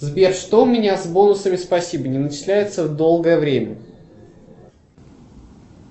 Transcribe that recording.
сбер что у меня с бонусами спасибо не начисляются долгое время